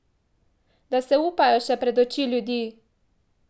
Da se upajo še pred oči ljudi!